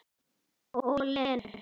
Og Lenu.